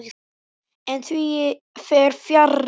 En því fer fjarri.